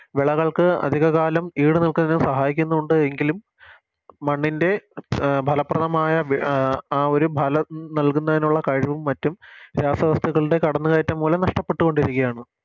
വിളകൾക്ക് അധിക കാലം ഈട് നിൽക്കാൻ സഹായിക്കുന്നുണ്ട് എങ്കിലും മണ്ണിൻറെ അഹ് ഫലപ്രദമായ ആ ഒരു ഫലം നൽകുന്നതിനുള്ള കഴിവും മറ്റും രാസവസ്തുക്കളുടെ കടന്നുകയറ്റം മൂലം നഷ്ട്ടപ്പെട്ടുകൊണ്ടിരിക്കെയാണ്